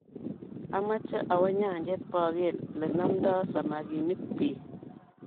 Ameche awo nyanjet baker lenamtai samakinik bik.